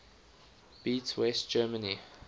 beat west germany